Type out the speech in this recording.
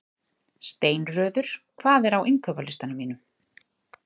Steinröður, hvað er á innkaupalistanum mínum?